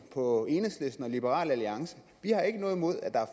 på enhedslisten og liberal alliance vi har ikke noget imod at der er